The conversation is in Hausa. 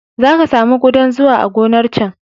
Za ka sami ƙudan zuwa a gonar can.